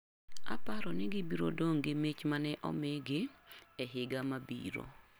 Aparo ni gibiro dong gi mich mane omigi ei higa mabiro.